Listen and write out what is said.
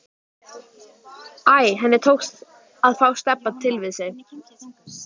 Æ, henni tókst að fá Stebba til við sig.